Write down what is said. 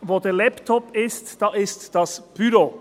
«Wo der Laptop ist, da ist das Büro.